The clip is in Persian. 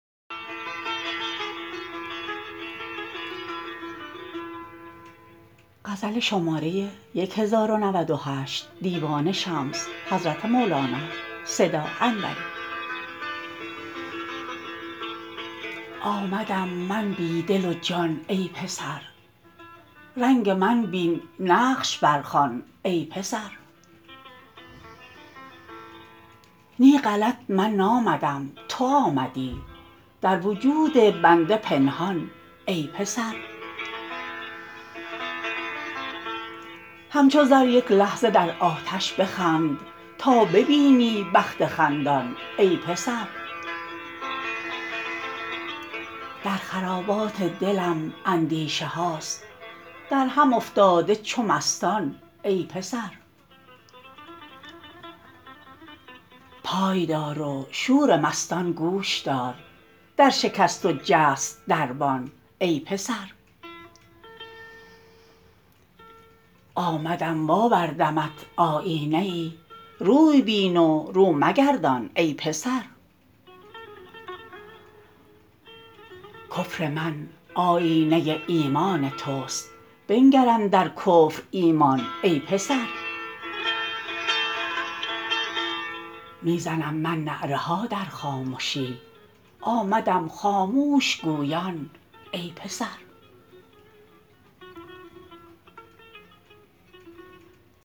آمدم من بی دل و جان ای پسر رنگ من بین نقش برخوان ای پسر نی غلط من نامدم تو آمدی در وجود بنده پنهان ای پسر همچو زر یک لحظه در آتش بخند تا ببینی بخت خندان ای پسر در خرابات دلم اندیشه هاست در هم افتاده چو مستان ای پسر پای دار و شور مستان گوش دار در شکست و جست دربان ای پسر آمدم و آوردمت آیینه ای روی بین و رو مگردان ای پسر کفر من آیینه ایمان توست بنگر اندر کفر ایمان ای پسر می زنم من نعره ها در خامشی آمدم خاموش گویان ای پسر